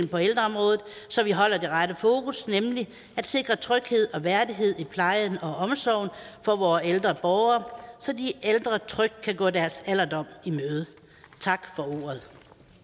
på ældreområdet så vi holder det rette fokus nemlig at sikre tryghed og værdighed i plejen og omsorgen for vore ældre borgere så de ældre trygt kan gå deres alderdom i møde tak for ordet